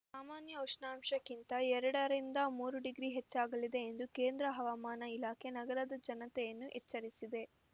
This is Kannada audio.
ಸಾಮಾನ್ಯ ಉಷ್ಣಾಂಶಕ್ಕಿಂತ ಎರಡರಿಂದ ಮೂರು ಡಿಗ್ರಿ ಹೆಚ್ಚಾಗಲಿದೆ ಎಂದು ಕೇಂದ್ರ ಹವಾಮಾನ ಇಲಾಖೆ ನಗರದ ಜನತೆಯನ್ನು ಎಚ್ಚರಿಸಿದೆ